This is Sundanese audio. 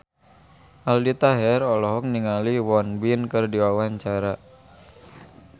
Aldi Taher olohok ningali Won Bin keur diwawancara